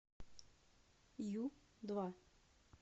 ю два